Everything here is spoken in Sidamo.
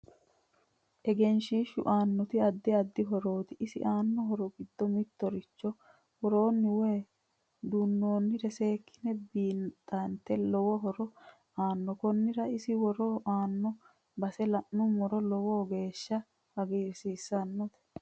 Egenshiishu aannoti addi addi horooti isi aanno horo giddo mittoricho worooni woy duunoonire seekine biixate lowo horo aanno konira isi worre heenooni base la'numoro lowo geesha hagiirsiisanote